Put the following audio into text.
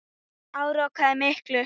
Hann áorkaði miklu.